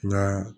N ka